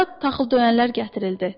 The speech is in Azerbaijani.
Ora taxıl döyənlər gətirildi.